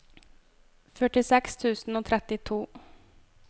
førtiseks tusen og trettito